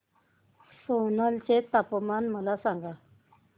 सोलन चे तापमान मला सांगा